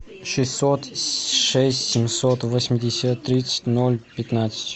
шестьсот шесть семьсот восемьдесят тридцать ноль пятнадцать